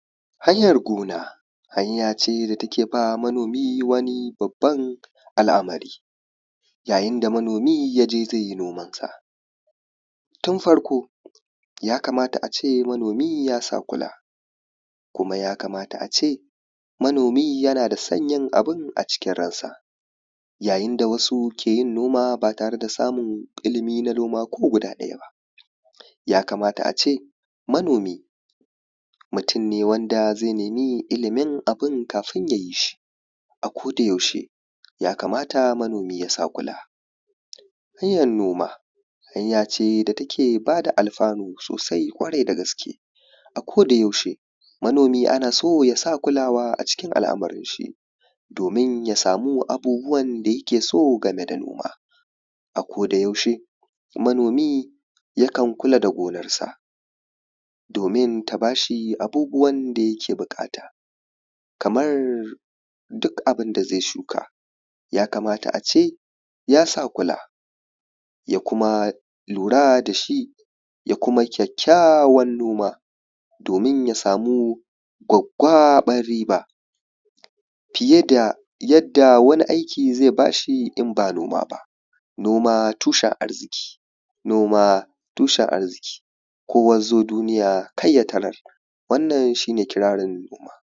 hayar gona hanya ce da take ba wa manomi wani babban al’amari yayin da manomi yaje zai yi noman sa tun farko ya kamata ace manomi ya sa kula ya kamata manomi ace yana son yin abun a cikin ransa yayin da wasu ke noma ba tare da samun ilmin na noma ko guda ɗaya ya kamata ace manomi mutum ne wanda zai nemi ilmin abun kafin kayi shi a koda yaushe ya kamata manomi ya sa kula hanyar noma hanya ce da ta ke bada alfanu sosai ƙwarai da gaske a koda yaushe manomi ana so yasa kulawa a cikin al’amarin sa domin ya samu abubuwa da yake so game da noma a koda yaushe manomi yakan kula da gonar sa domin ta bashi abubuwan da yake buƙata kamar duk abun da zai shuka ya kamata ace yasa kula ya kuma lura da shi ya kuma ƙyaƙƙyawan noma domin ya samu gwaggaɓar riba fiye da yadda wani aiki zai bashi in ba noma ba noma tushen arziki noma tushen arziki kowa yazo duniya kai ya tarar wannan shi ne kirarin noma